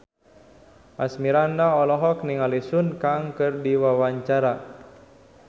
Asmirandah olohok ningali Sun Kang keur diwawancara